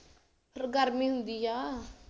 ਗਰਮੀ ਹੁੰਦੀ ਐ